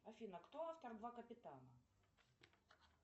афина кто автор два капитана